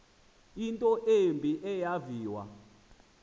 into embi eyaviwa